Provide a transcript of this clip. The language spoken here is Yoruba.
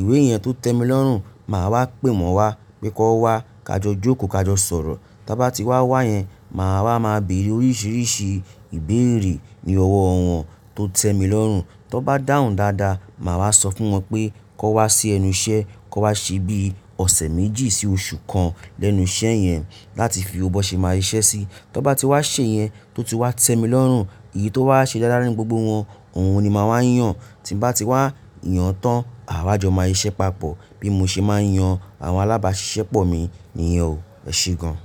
ìwé yẹn tó tẹ́ mi lọ́rùn, màá wá pè wọ́n wa pé kán wa ká jọ jókòó ká jọ sọ̀rọ̀. Tí wọ́n bá ti wá wá yẹn, màá wá máa bèèrè oríṣiríṣi ìbéèrè ní ọwọ́ ọ̀wọ̀n tó tẹ́ mi lọ́rùn. Tó bá dáhùn dáadáa, màá wá sọ fún wọn pé kán wá sí ẹnu iṣẹ́, kán wá ṣe bí ọ̀sẹ̀ méjì sí oṣù kan lẹ́nu iṣẹ́ yẹn láti fi ọwọ́ ṣe máa yí iṣẹ́ sí. Tí wọ́n bá ti wá ṣe yẹn tó ti wá tẹ́ mi lọ́rùn, èyí tó wá ṣe dáradára ní gbogbo wọn, òun ni màá wá yàn. Tí mo bá ti wá yàn tán, àwáájọ máa ṣiṣẹ́ papọ̀. Bí mo ṣe máa ń yan àwọn alábáṣiṣẹ́ pọ̀ mi nìyẹn o. Ẹ ṣe gan.